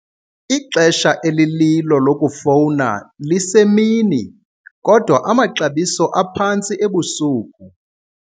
Ixesha elililo lokufowuna lisemini kodwa amaxabiso aphantsi ebusuku.